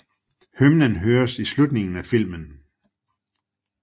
Hymnen høres i slutningen af filmen